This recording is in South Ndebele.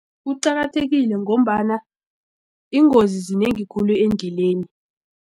Kuqakathekile ngombana iingozi zinengi khulu endleleni.